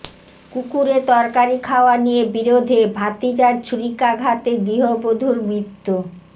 কুকুরে তরকারি খাওয়া নিয়ে বিরোধে ভাতিজার ছুরিকাঘাতে গৃহবধূর মৃত্যু